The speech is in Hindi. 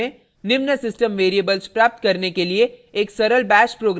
निम्न सिस्टम वेरिएबल्स प्राप्त करने के लिए एक सरल bash प्रोग्राम लिखें